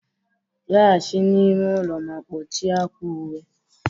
laghachi n'ime ụlọ ma kpọchie akwa uwe